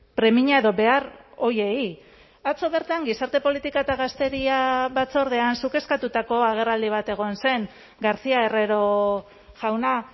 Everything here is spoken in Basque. premia edo behar horiei atzo bertan gizarte politika eta gazteria batzordean zuk eskatutako agerraldi bat egon zen garcía herrero jauna